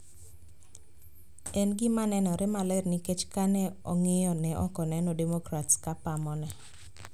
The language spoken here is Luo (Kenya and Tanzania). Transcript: En gimanenore maler nikech ka ne ong`iyo ne ok oneno demokrats ka pamone